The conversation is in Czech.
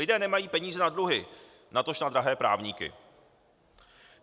Lidé nemají peníze na dluhy, natož na drahé právníky.